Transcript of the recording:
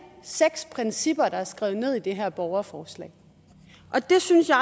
seks principper der er skrevet ned i det her borgerforslag og det synes jeg